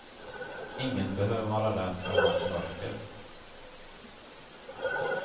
Ingen behöver vara rädd för hans mörker.